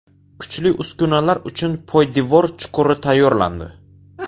Kuchli uskunalar uchun poydevor chuquri tayyorlandi.